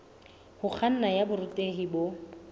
ho kganna ya borutehi bo